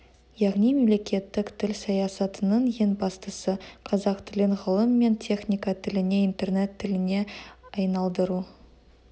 яғни мемлекеттік тіл саясатының ең бастысы қазақ тілін ғылым мен техника тіліне интернет тіліне айналдыру